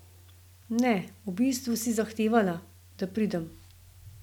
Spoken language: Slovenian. Ne, v bistvu si zahtevala, da pridem.